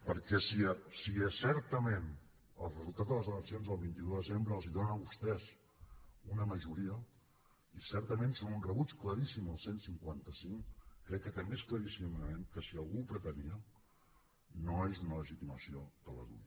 perquè si certament el resultat de les eleccions del vint un de desembre els dona a vostès una majoria i certament són un rebuig claríssim al cent i cinquanta cinc crec que també és claríssim que si algú ho pretenia no és una legitimació de la dui